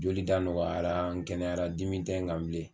Joli da nɔgɔyara n kɛnɛyara dimi tɛ n kan bilen.